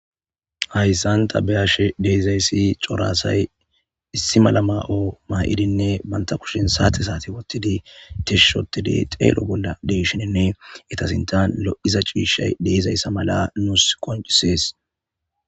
Hayssan ta be'ashe dizayssi cora asay issi mala mayo ma'idine bantta kushen sate sate wottidi tish ottidi xello de'shinine eta sinttan lo'iza cishaye de'izayssa mala nusi qoncises.